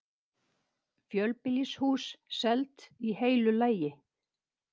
Fjölbýlishús selt í heilu lagi